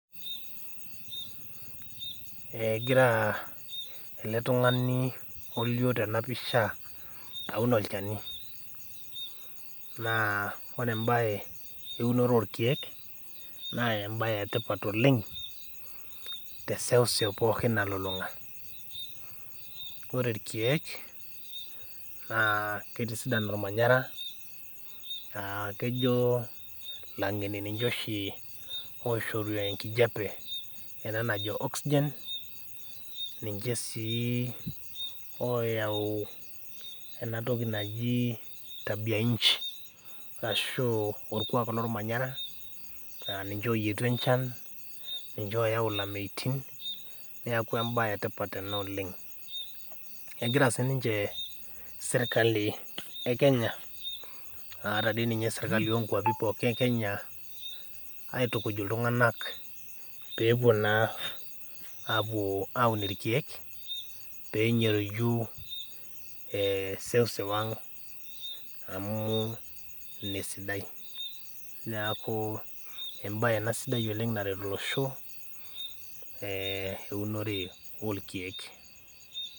Egira ele tungani olio tena pisha aun olchani, naa ore embae eunore orkeek, naa embae etipat oleng teseuseu pookin nalulunga .ore irkeek naa keitisidan ormanyera ,kejo langeni ninye oshi oishoru enkijepeena najo oxygen, ninche sii oyau enatoki naji tabia nchi orashu orkuak lormanyera laa ninche oyietu enchan ,niche oyau lameitin neeku embae etipat ena oleng, egira siininche serkali ekenye naa ata dii ninye sirkali poki onkwapi ekenya aitukuj iltunganak pee epuo naa aun irkeek pee enyoriju seuseu ang amu ina esidai ,neeku embae sidai ena naret olosho eunore orkeek.